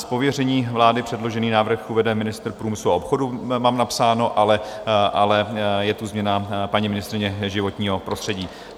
Z pověření vlády předložený návrh uvede ministr průmyslu a obchodu - mám napsáno, ale je tu změna - paní ministryně životního prostředí.